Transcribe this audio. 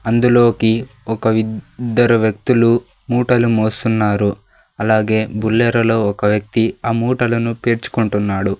అందులోకి ఒక ఇద్దరు వ్యక్తులు మూటలు మోస్తున్నారు అలాగే బుల్లెరో లో ఒక వ్యక్తి ఆ మూటలను పేర్చుకుంటున్నాడు.